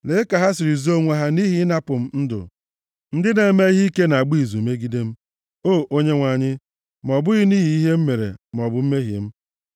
Lee ka ha siri zoo onwe ha nʼihi ịnapụ m ndụ! Ndị na-eme ihe ike na-agba izu megide m, o Onyenwe anyị, ma ọ bụghị nʼihi ihe m mere maọbụ mmehie m.